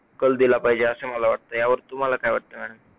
कल दिला पाहिजे अस मला वाटतयं, यावर तुम्हाला काय वाटतयं? madam